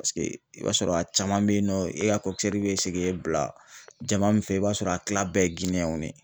Paseke i b'a sɔrɔ a caman bɛ yen nɔ e ka bɛ se k'e bila jama min fɛ, i b'a sɔrɔ a tila bɛɛ ye Giniyɛn